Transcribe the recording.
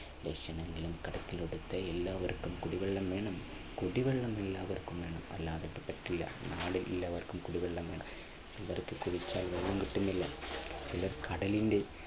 ലക്ഷങ്ങൾ കടത്തിൽ എടുത്ത് എല്ലാവർക്കും കുടിവെള്ളം വേണം. കുടിവെള്ളം എല്ലാവർക്കും വേണം അല്ലാതെ പറ്റില്ല നാളെ എല്ലാവർക്കും കുടിവെള്ളം വേണം. കടലിന്റെ